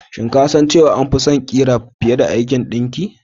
Shin ko ka san cewa na fi son ƙira fiye da aikin ɗinkin?